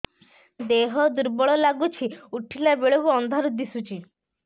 ଦେହ ଦୁର୍ବଳ ଲାଗୁଛି ଉଠିଲା ବେଳକୁ ଅନ୍ଧାର ଦିଶୁଚି